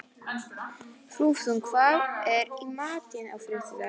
Þrúðmar, hvað er í matinn á þriðjudaginn?